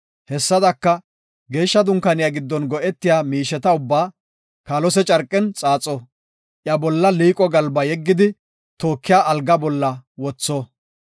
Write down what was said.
Hessadaka, Geeshsha Dunkaaniya giddon go7etiya miisheta ubbaa kaalose carqen xaaxo; iya bolla liiqo galba yeggidi, tookiya alga bolla wotho.